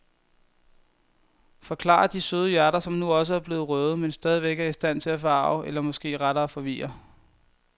Forklarer de søde hjerter, som nu også er blevet røde, men stadigvæk er i stand til at forarge eller måske rettere forvirre.